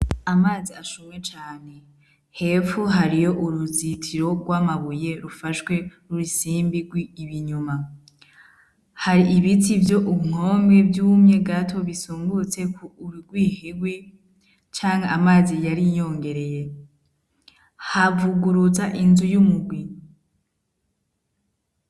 Amazi ashuhe cane, hepfo hariyo uruzitiro rw'amabuye rufashwe n'urusimbi rwe inyuma, hari ibiti vyo ku nkome vy'umye gato bisungurtse ku urirwihirwi canke amazi yari yongereye, havuguruza inzu y'umugwi.